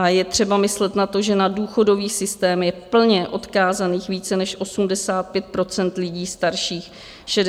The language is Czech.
A je třeba myslet na to, že na důchodový systém je plně odkázaných více než 85 % lidí starších 65 let.